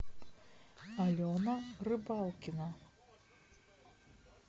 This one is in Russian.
алена рыбалкина